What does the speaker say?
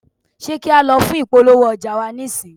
ṣe kí a lọ fún ìpolówó ọjà wa nísìń?